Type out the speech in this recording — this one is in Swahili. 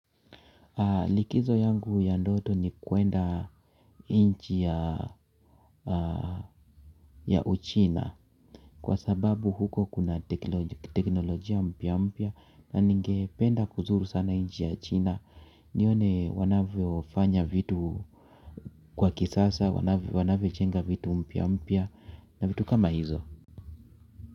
Likizo yangu ya ndoto ni kuenda nchi ya uchina kwa sababu huko kuna teknolojia mpya mpya na ningependa kuzuru sana nchi ya china nione wanavyofanya vitu kwa kisasa wanavyojenga vitu mpya mpya na vitu kama hizo.